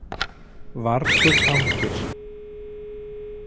Vargur hangir